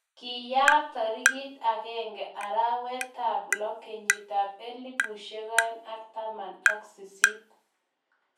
Kiyaak tarik akenge arawetab lo 2018.